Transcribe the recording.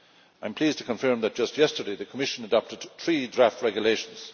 I am pleased to confirm that just yesterday the Commission adopted three draft regulations.